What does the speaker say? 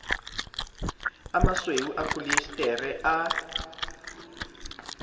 a masweu a pholiesetere a